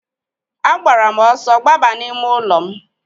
A gbara m ọsọ gbaba n'ime ụlọ m.